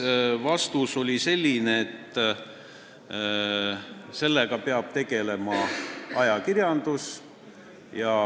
Vastus oli selline, et sellega peab tegelema ajakirjandus.